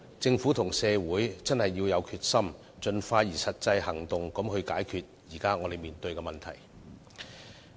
政府和社會必須有決心，盡快採取實際行動解決眼前的問題。